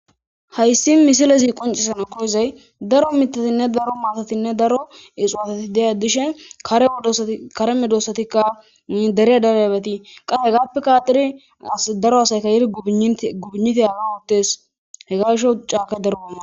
Haysi missiley qoncissanas koyizay Daro Mitha Daro mata Daro ixuwatei dishes kare medosatika ini dere derabati qase hegapeka adhidi gubuynite hegan othes hegan gishaw cakay Daro mades